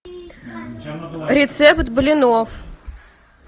рецепт блинов